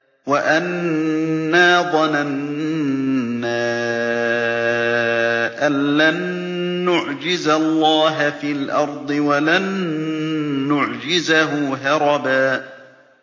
وَأَنَّا ظَنَنَّا أَن لَّن نُّعْجِزَ اللَّهَ فِي الْأَرْضِ وَلَن نُّعْجِزَهُ هَرَبًا